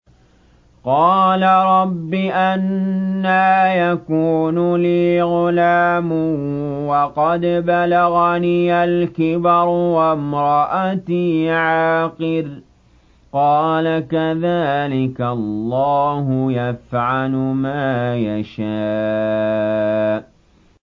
قَالَ رَبِّ أَنَّىٰ يَكُونُ لِي غُلَامٌ وَقَدْ بَلَغَنِيَ الْكِبَرُ وَامْرَأَتِي عَاقِرٌ ۖ قَالَ كَذَٰلِكَ اللَّهُ يَفْعَلُ مَا يَشَاءُ